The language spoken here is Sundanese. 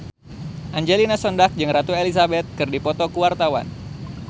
Angelina Sondakh jeung Ratu Elizabeth keur dipoto ku wartawan